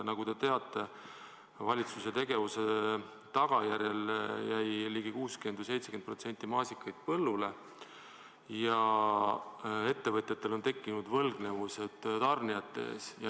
Nagu te teate, valitsuse tegevuse tagajärjel jäi 60–70% maasikaid põllule ja ettevõtjatel on tekkinud võlgnevused tarnijate ees.